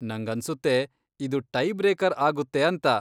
ನಂಗನ್ಸುತ್ತೆ ಇದು tie breaker ಆಗುತ್ತೆ ಅಂತ.